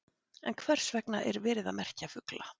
En hvers vegna er verið að merkja fugla?